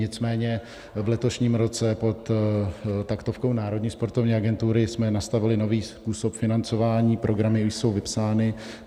Nicméně v letošním roce pod taktovkou Národní sportovní agentury jsme nastavili nový způsob financování, programy již jsou vypsány.